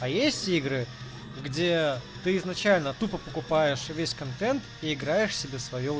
а есть игры где ты изначально тупо покупаешь весь контент и играешь себе в своё